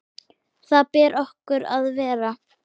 Þar ber okkur að vera!